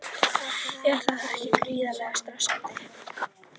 Er það ekki gríðarlega stressandi?